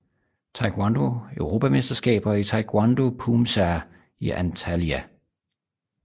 Taekwondo Europamesterskaber i Taekwondo Poomsae i Antalya